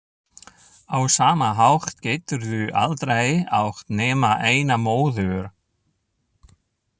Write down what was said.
Á sama hátt geturðu aldrei átt nema eina móður.